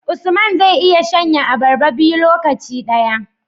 Usman zai iya shan ye abarba biyu lokaci daya